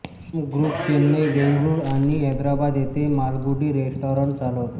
Shyam group Chennai Bengaluru आणि हैदराबाद येथे Malgudi restaurant चालवतो